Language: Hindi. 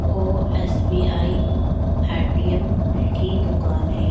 ओ एसबीआई एटीएम की दुकान है।